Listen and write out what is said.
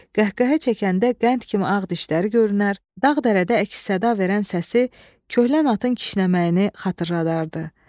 Qəhqəhə çəkəndə qənd kimi ağ dişləri görünər, dağ-dərədə əks-səda verən səsi köhlən atın kişnəməyini xatırladardı.